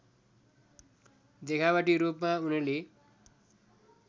देखावटी रूपमा उनले